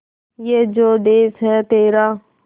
ये जो देस है तेरा